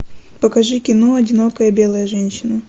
покажи кино одинокая белая женщина